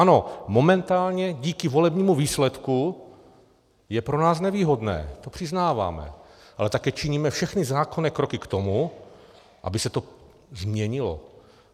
Ano, momentálně díky volebnímu výsledku je pro nás nevýhodné, to přiznáváme, ale také činíme všechny zákonné kroky k tomu, aby se to změnilo.